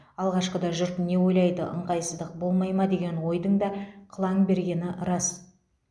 алғашқыда жұрт не ойлайды ыңғайсыздық болмай ма деген ойдың да қылаң бергені рас